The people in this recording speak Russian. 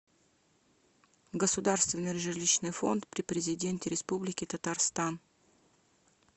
государственный жилищный фонд при президенте республики татарстан